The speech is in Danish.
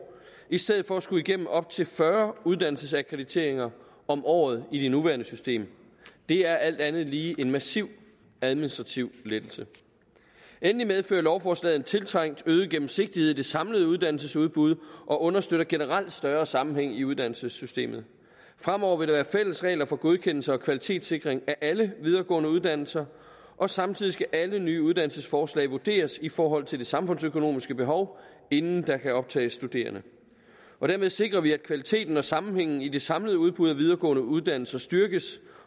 i stedet for at skulle igennem op til fyrre uddannelsesakkrediteringer om året i det nuværende system det er alt andet lige en massiv administrativ lettelse endelig medfører lovforslaget en tiltrængt øget gennemsigtighed i det samlede uddannelsesudbud og understøtter generelt større sammenhæng i uddannelsessystemet fremover vil der være fælles regler for godkendelse og kvalitetssikring af alle videregående uddannelser og samtidig skal alle nye uddannelsesforslag vurderes i forhold til det samfundsøkonomiske behov inden der kan optages studerende dermed sikrer vi at kvaliteten og sammenhængen i det samlede udbud af videregående uddannelser styrkes